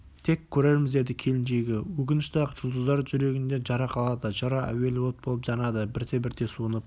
тек көрерміз деді келіншегі өкінішті-ақ жұлдыздар жүрегінде жара қалады жара әуелі от болып жанады бірте-бірте суынып